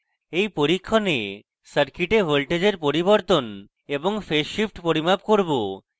in পরীক্ষণে circuit voltage পরিবর্তন এবং phase shift পরিমাপ করব